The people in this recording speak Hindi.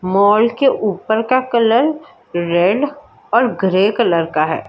माल के ऊपर का कलर रेड और ग्रे कलर का है।